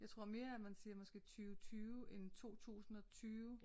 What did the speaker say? Jeg tror mere at man siger måske 20 20 end 2020